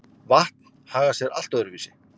Vatn hagar sé allt öðru vísi.